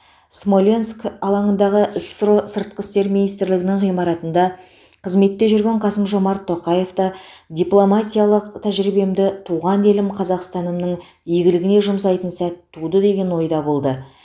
смоленск алаңындағы ссро сыртқы істер министрлігінің ғимаратында қызметте жүрген қасым жомарт тоқаев та дипломатиялық тәжірибемді туған елім қазақстанымның игілігіне жұмсайтын сәт туды деген ойда болды